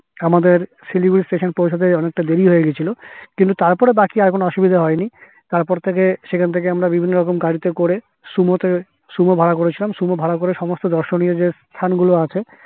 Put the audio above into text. আমাদের শিলিগুড়ি station পৌঁছাতে অনেক টা দেরি হয় গিয়েছিলো কিন্তু তারপরে বাকি আর কোনো অসুবিধা হয়নি তার পর থেকে সেখান থেকে আমরা বিভিন্ন রকম গাড়িতে করে sumo তে sumo ভাড়া করেছিলাম সমস্ত দর্শনীয় যে স্থান গুলো আছে